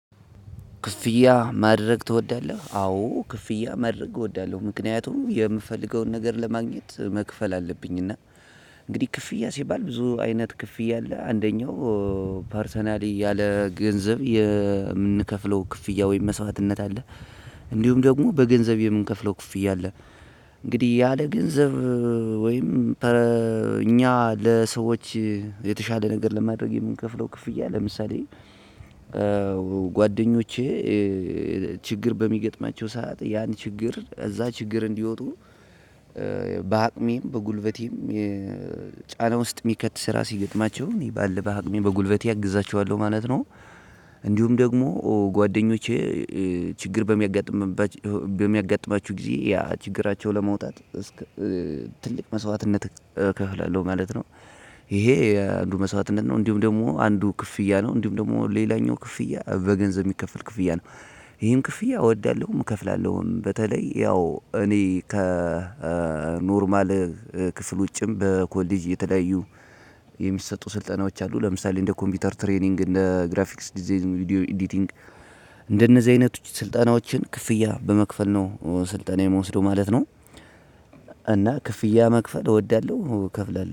ክፍያ ማድረግ ትወዳለህ? አዎ ክፍያ ማድረግ እወዳለሁ። ምክንያቱም የምፈልገውን ነገር ለማግኘት መክፈል አለብኝ እና እንግዲህ ክፍያ ሲባል ብዙ አይነት ክፍያ አለ። አንደኛው ፓርሰናሊ ያለ ገንዘብ የምንከፍለው ክፍያ ወይም መስዋዕትነት አለ እንዲሁም ደግሞ በገንዘብ የምንከፍለው ክፍያ አለ። እንግዲህ ያለ ገንዘብ ወይም እኛ ለሰዎች የተሻለ ለማድረግ የምንከፍላው ክፍያ ለምሳሌ ጓደኞቼ ችግር በሚገጥማቸው ሰዓት ያን ችግር እዛ ችግር እንዲወጡ በአቅሜም በጉልበቴም ጫና ውስጥ የሚከት ስራ ሲገጥማቸው እኔ ባለ በአቅሜ በጉልበቴ አግዛቸዋለሁ ማለት ነው። እንዲሁም ደግሞ ጓደኞቼ ችግር በሚያጋጥምባችሁ በሚያጋጥማችሁ ጊዜ ያ ችግራቸውን ለመውጣት እስከ ትልቅ መስዋዕትነት እከፍላለሁ ማለት ነው። ይሄ አንዱ መስዋዕትነት ነው እንዲሁም ደግሞ አንዱ ክፍያ ነው እንዲሁም ደግሞ ሌላኛው ክፍያ በገንዘብ የሚከፈል ክፍያ ነው። ይሄን ክፍያ እወዳለሁም እከፍላለሁም በተለይ ያው እኔ ከኖርማል ክፍል ውጭም በኮሌጅ የተለያዩ የሚሰጡ ስልጠናዎች አሉ። ለምሳሌ እንደ ኮምፒውተር ትሬኒንግ እንደ ግራፊክስ ዲዛይን ቪዲዮ ኤዲቲንግ እንደነዚህ አይነት ስልጠናዎችን ክፍያ በመክፈል ነው ስልጠና የምወስደው ማለት ነው። እና ክፍያ መክፈል እወዳለሁ እከፍላለሁ።